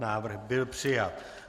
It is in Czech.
Návrh byl přijat.